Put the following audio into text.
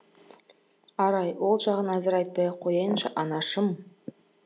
арай ол жағын әзір айтпай ақ қояйыншы анашым